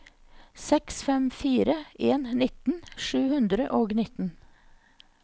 seks fem fire en nittien sju hundre og nittien